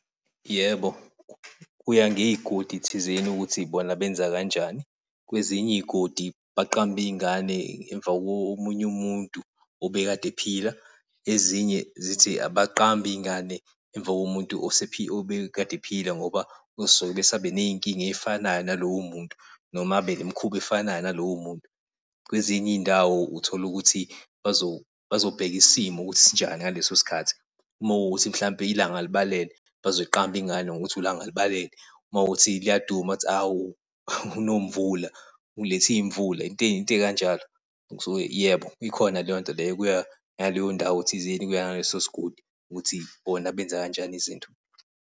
Yebo, kuya ngey'godi thizeni ukuthi bona benza kanjani kwezinye iy'godi baqamba iy'ngane emva komunye umuntu obekade ephila ezinye zithi abaqambe iy'ngane emva komuntu obekade ephila ngoba kosuke ebese abe ney'nkinga ezifanayo nalowo muntu noma aphile imikhuba efanayo nalowo muntu. Kwezinye izindawo utholukuthi bazobheka isimo ukuthi sinjani ngaleso sikhathi mawukuthi mhlawumbe ilanga libalele, bazoyiqamba ingane ngokuthi uLangalibalele makuwukuthi liyaduma ukuthi awu uNomvula ulethe iy'mvula. Into into ey'kanjalo, kusuke yebo, ikhona leyonto leyo kuya ngaleyo ndawo thizeni kuya ngaleso sigodi ukuthi bona benza kanjani izinto.